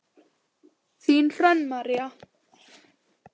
Þín Hrönn María.